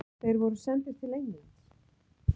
Þeir voru sendir til Englands.